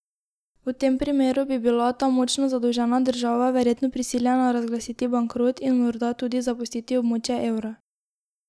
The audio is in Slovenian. V tem primeru bi bila ta močno zadolžena država verjetno prisiljena razglasiti bankrot in morda tudi zapustiti območje evra.